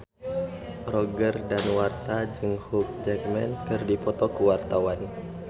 Roger Danuarta jeung Hugh Jackman keur dipoto ku wartawan